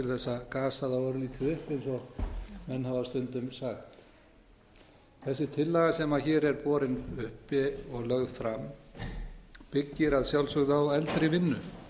þá örlítið upp eins og menn hafa stundum sagt þessi tillaga sem hér er borin upp og lögð fram byggir að sjálfsögðu á eldri vinnu